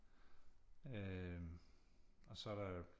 øh og så er der øh